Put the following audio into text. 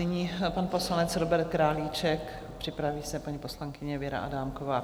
Nyní pan poslanec Robert Králíček, připraví se paní poslankyně Věra Adámková.